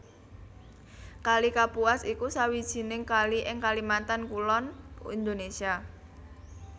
Kali Kapuas iku sawijining kali ing Kalimantan Kulon Indonesia